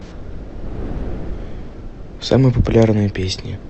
самые популярные песни